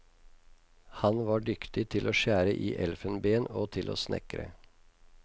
Han var dyktig til å skjære i elfenben og til å snekre.